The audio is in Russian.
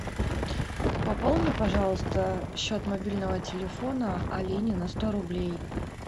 пополни пожалуйста счет мобильного телефона алине на сто рублей